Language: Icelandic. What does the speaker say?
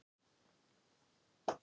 Pabbi hafði keypt það í gær.